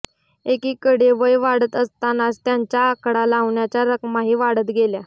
एकीकडे वय वाढत असतानाच त्यांच्या आकडा लावण्याच्या रकमाही वाढत गेल्या